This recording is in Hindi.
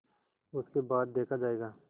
उसके बाद देखा जायगा